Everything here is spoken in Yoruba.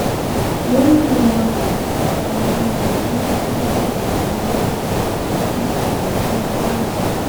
wòlíì élìwàkúkú àti babaláwo ẹ tí wọn jọ ń ṣòwò agbárí òkú ti dèrò ẹwọn ní kwara